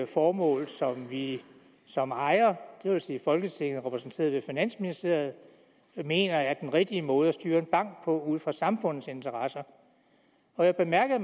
formål som vi som ejer det vil sige folketinget repræsenteret ved finansministeriet mener er den rigtige måde at styre en bank på ud fra samfundets interesser og jeg bemærkede